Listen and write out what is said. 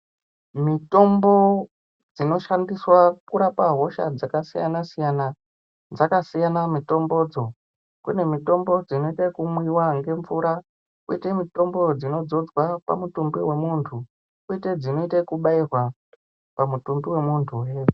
Mitombo dzinoshandiswa kurapa hosha dzakasiyana siyana dzakasiyana mutombodzo kune mitombo dzinoite ekumwiwa ngemvura kwoite mutombo dzinodzodzwa pamutumbi wemuntu kwoite dzinoite ekubairwa pamutumbi wemuntuhe.